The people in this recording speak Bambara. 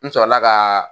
N sɔrɔla ka